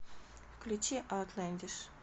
включи аутлэндиш